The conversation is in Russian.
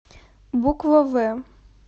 буква в